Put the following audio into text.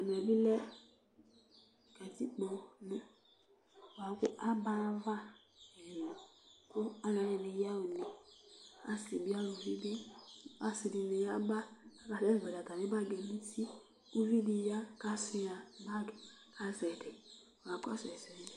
ɛmɛ bi lɛ katikpo nu boa kò aba ayi ava ɛlò kò alo ɛdini ya ɣa une asi bi aluvi bi asi di ni ya ba k'asɛ zɔli atami bag yɛ no uti uvi di ya k'asua bag k'azɛ ɛdi kakɔsu ɛsɛ